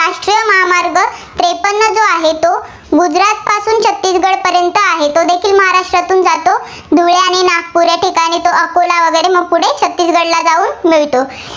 नागपूर या ठिकाणी तो अकोला वगैरे मग पुढे छत्तीसगडला जाऊन मिळतो.